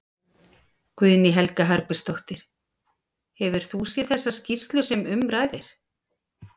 Guðný Helga Herbertsdóttir: Hefur þú séð þessa skýrslu sem um ræðir?